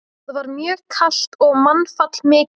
Þar var mjög kalt og mannfall mikið.